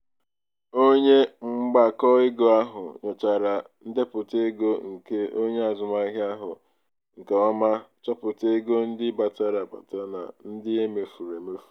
onye mgbakọego ahụ nyochara ndepụta ego nke onye azụmahịa ahụ nke ọma chọpụta ego ndị batara abata na ndị e mefuru emefu.